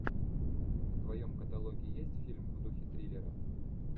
в твоем каталоге есть фильм в духе триллера